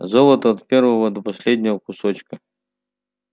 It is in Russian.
золото от первого до последнего кусочка